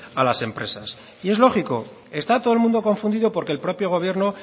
a las empresas y es lógico está todo el mundo confundido porque el propio gobierno